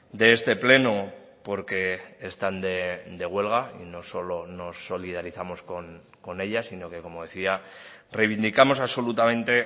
de este pleno porque están de huelga y no solo nos solidarizamos con ellas sino que como decía reivindicamos absolutamente